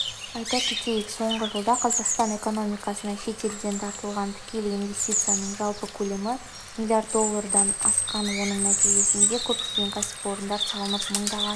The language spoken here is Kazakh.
айта кетейік соңғы жылда қазақстан экономикасына шетелден тартылған тікелей инвестицияның жалпы көлемі млрд доллардан асқан осының нәтижесінде көптеген кәсіпорындар салынып мыңдаған